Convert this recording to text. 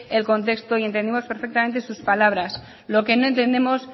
el contexto y entendemos perfectamente sus palabras lo que no entendemos